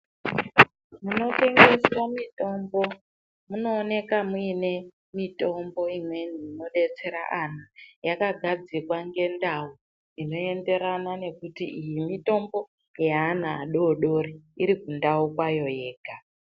Munotengeswa mitombo munoonekwa mune mitombo imweni inodetsera ana yakagadzikwa ngendau inoenderana nekuti iyi mitombo yeana adodori iri mundau mayo yega.